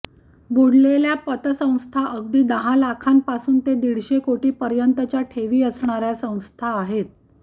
बुडालेल्या पतसंस्था अगदी दहा लाखापासून ते दीडशे कोटीपर्यंतच्या ठेवी असणार्या संस्था आहेत